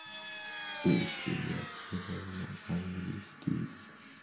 у тебя всё равно английский